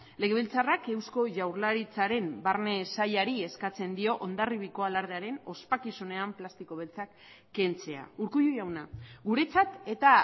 legebiltzarrak eusko jaurlaritzaren barne sailari eskatzen dio hondarribiako alardearen ospakizunean plastiko beltzak kentzea urkullu jauna guretzat eta